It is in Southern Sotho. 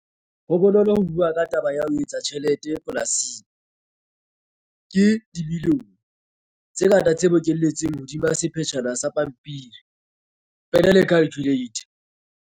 Ho bonolo ho bua ka taba ya ho etsa tjhelete polasing, ke 'dimilione' tse ngata tse bokelletsweng hodima sekgetjhana sa pampiri, pene le calculator.